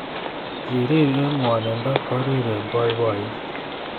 Kirir eng gwoninfo korir eng boiboiyet